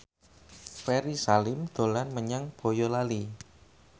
Ferry Salim dolan menyang Boyolali